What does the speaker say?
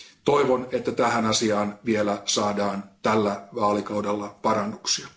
Toivon, että tähän asiaan saadaan vielä tällä vaalikaudella parannuksia.